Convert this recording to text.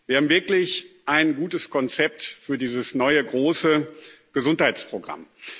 Wir haben wirklich ein gutes Konzept für dieses neue große Gesundheitsprogramm.